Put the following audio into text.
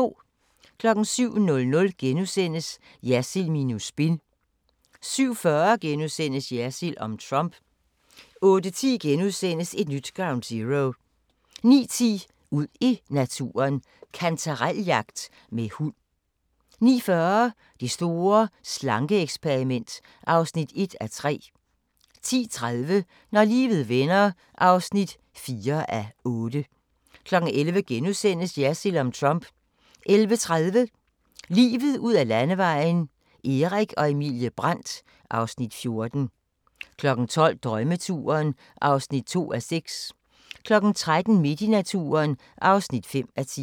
07:00: Jersild minus spin * 07:40: Jersild om Trump * 08:10: Et nyt Ground Zero * 09:10: Ud i naturen: Kantarel-jagt med hund 09:40: Det store slanke-eksperiment (1:3) 10:30: Når livet vender (4:8) 11:00: Jersild om Trump * 11:30: Livet ud ad Landevejen: Erik og Emilie Brandt (Afs. 14) 12:00: Drømmeturen (2:6) 13:00: Midt i naturen (5:10)